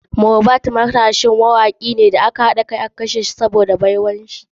Mohbad matashin mawaki ne wanda mawakan nigeria suka haɗa kai domin kashe shi sabida baiwarsa.